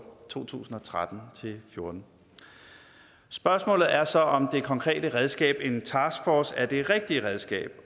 to tusind og tretten til fjorten spørgsmålet er så om det konkrete redskab en taskforce er det rigtige redskab